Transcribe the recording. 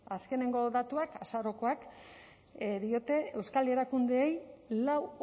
azkeneko datuak azarokoak diote euskal erakundeei lau